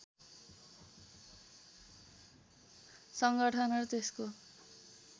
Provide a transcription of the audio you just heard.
सङ्गठन र त्यसको